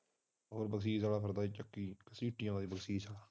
ਹੋਰ ਬਰਸੀਸ ਵਾਲਾ ਚੱਕੀ ਫਿਰਦਾ ਸੀ ਸੀਟੀਆਂ ਵਾਲੀ ਬਰਸੀਸ